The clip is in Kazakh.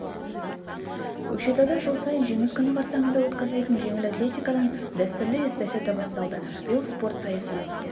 көкшетауда жыл сайын жеңіс күні қарсаңында өткізілетін жеңіл атлетикадан дәстүрлі эстафета басталды биыл спорт сайысы өтті